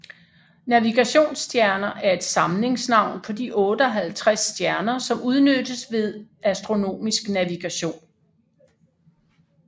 Navigationsstjerner er et samlingsnavn på de 58 stjerner som udnyttes ved astronomisk navigation